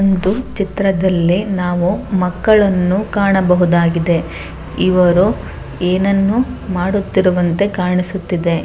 ಒಂದು ಚಿತ್ರದಲ್ಲಿ ನಾವು ಮಕ್ಕಳನ್ನು ಕಾಣಬಹುದಾಗಿದೆ ಇವರು ಏನನ್ನು ಮಾಡುತ್ತಿರುವಂತೆ ಕಾಣಿಸುತ್ತಿದೆ.